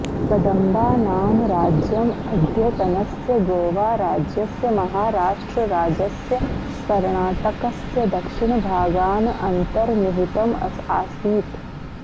कदम्बानां राज्यम् अद्यतनस्य गोवाराज्यस्य महाराष्ट्रराज्यस्य कर्णाटकस्य दक्षिणभागान् अन्तर्निहितम् आसीत्